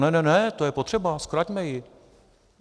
Ne, ne, ne, to je potřeba, zkraťme ji!